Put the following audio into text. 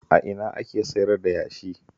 A ina ake sayar da yashi?